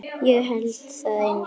Ég hélt það einu sinni.